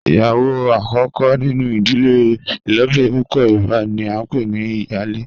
Iyawo akoko ninu idile ilobirin pupọ yoruba ni a npe ni iyale